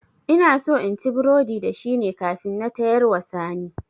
Inaso inci burodi da shine kafin na tayarwa sani